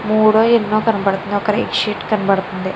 మోడో ఎనో కనబడుతుంది. ఒక రెడ్ షీట్ కనబడుతుంది.